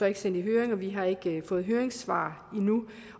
ikke sendt i høring og vi har ikke fået høringssvar endnu